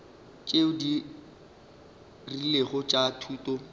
tšeo di rilego tša thuto